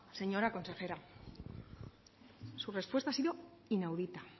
señora consejera su respuesta ha sido inaudita